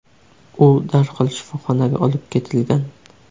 U darhol shifoxonaga olib ketilgan.